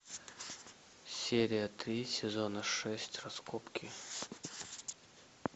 серия три сезона шесть раскопки